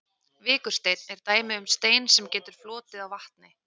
Vikursteinn er dæmi um stein sem getur flotið á vatni.